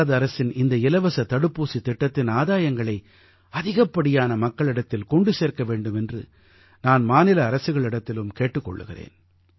பாரத அரசின் இந்த இலவசத் தடுப்பூசித் திட்டத்தின் ஆதாயங்களை அதிகப்படியான மக்களிடத்தில் கொண்டு சேர்க்க வேண்டும் என்று நான் மாநில அரசுகளிடத்திலும் கேட்டுக் கொள்கிறேன்